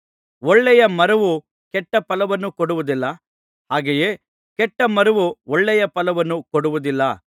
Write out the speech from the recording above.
ಒಳ್ಳೆಯ ಮರವು ಕೆಟ್ಟ ಫಲವನ್ನು ಕೊಡುವುದಿಲ್ಲ ಹಾಗೆಯೇ ಕೆಟ್ಟ ಮರವು ಒಳ್ಳೆಯ ಫಲವನ್ನು ಕೊಡುವುದಿಲ್ಲ